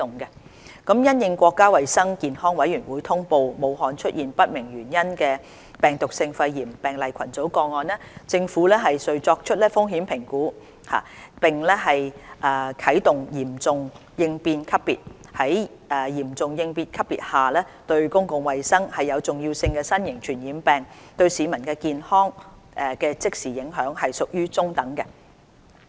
因應國家衞生健康委員會通報武漢出現不明原因的病毒性肺炎病例群組個案，政府遂作出風險評估並啟動"嚴重應變級別"。在嚴重應變級別下，"對公共衞生有重要性的新型傳染病"對市民健康的即時影響屬於中等。